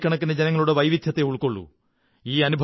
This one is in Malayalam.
കോടിക്കണക്കിന് ജനങ്ങളുടെ വൈവിധ്യത്തെ ഉള്ക്കൊ ള്ളൂ